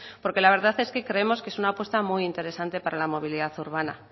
porque la verdad es que creemos que es una apuesta muy interesante para la movilidad urbana